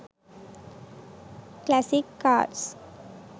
classic cars